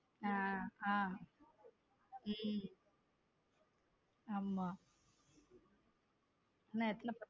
ஹம் உம் ஆமா இன்னும் எத்தனை.